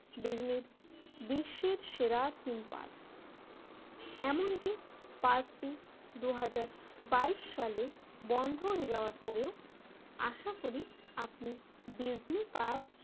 Disney বিশ্বের সেরা theme park এমনকি পার্কটি দুই হাজার বাইশ সালে বন্ধ হয়ে যাওয়ার পরেও আশা করি আপনি ডিজনি পার্ক